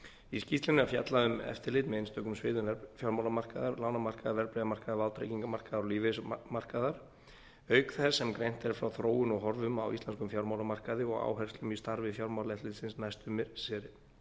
í skýrslunni er fjallað um eftirlit með einstökum sviðum fjármálamarkaðar lánamarkaðar verðbréfamarkaðar vátryggingamarkaðar og lífeyrismarkaðar auk þess sem greint er frá þróun og horfum á íslenskum fjármálamarkaði og áherslum í starfi fjármálaeftirlitsins næstu missiri